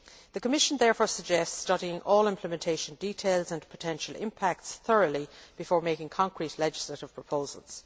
The Commission therefore suggests studying all implementation details and potential impacts thoroughly before making concrete legislative proposals.